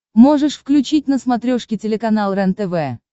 можешь включить на смотрешке телеканал рентв